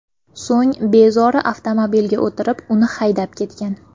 So‘ng bezori avtomobilga o‘tirib, uni haydab ketgan.